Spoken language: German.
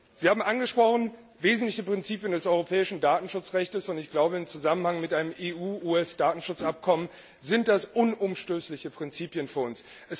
Sie haben wesentliche Prinzipien des europäischen Datenschutzrechtes angesprochen, und ich glaube, im Zusammenhang mit einem EU US Datenschutzabkommen sind das unumstößliche Prinzipien für uns.